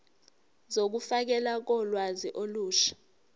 zokufakelwa kolwazi olusha